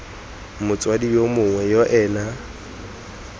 motsadi yo mongwe yo ena